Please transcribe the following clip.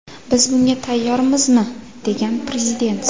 Biz bunga tayyormizmi?”, degan Prezident.